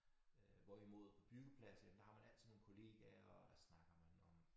Øh hvorimod på byggepladser jamen der har man altid nogle kollegaer og der snakker man om